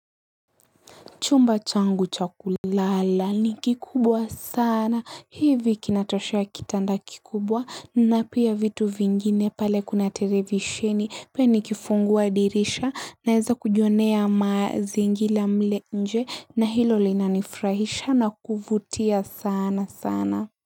Chumba changu cha kulala ni kikubwa sana. Hivi kinatoshea kitanda kikubwa na pia vitu vingine pale kuna televisheni. Pia nikifungua dirisha naeza kujionea mazingira mle nje na hilo linanifurahisha na kuvutia sana sana.